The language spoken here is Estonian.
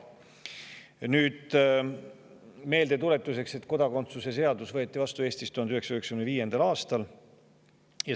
Tuletan meelde, et kodakondsuse seadus võeti Eestis vastu 1995. aastal.